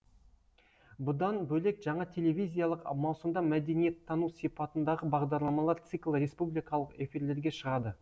бұдан бөлек жаңа телевизиялық маусымда мәдениеттану сипатындағы бағдарламалар циклі республикалық эфирлерге шығады